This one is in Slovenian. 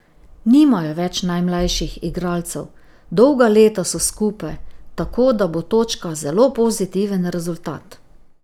Nimajo več najmlajših igralcev, dolga leta so skupaj, tako da bo točka zelo pozitiven rezultat.